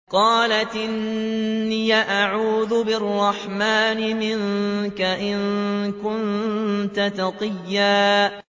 قَالَتْ إِنِّي أَعُوذُ بِالرَّحْمَٰنِ مِنكَ إِن كُنتَ تَقِيًّا